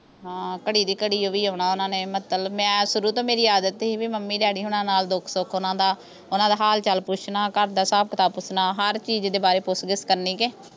ਹਾਂ ਘੜੀ ਦੀ ਘੜੀ ਓਹ ਵੀ ਆਉਣਾ ਓਹਨਾਂ ਨੇ ਮਤਲਬ ਮੈਂ ਸ਼ੁਰੂ ਤੋਂ ਮੇਰੀ ਆਦਤ ਸੀ ਬੀ ਮੰਮੀ ਡੈਡੀ ਹੁਣਾ ਨਾਲ ਦੁਖ ਸੁਖ ਓਹਨਾਂ ਦਾ ਓਹਨਾਂ ਦਾ ਹਾਲ ਚਾਲ ਪੁੱਛਣਾ ਘਰਦਾ ਹਿਸਾਬ ਕਿਤਾਬ ਪੁੱਛਣਾ ਹਰ ਚੀਜ਼ ਦੇ ਬਾਰੇ ਪੁੱਛ ਗਿੱਛ ਕਰਨੀ ਕੇ